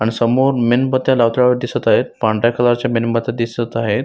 आणि समोर मेणबत्त्या लावताना दिसत आहेत पांढऱ्या कलर च्या मेणबत्त्या दिसत आहेत.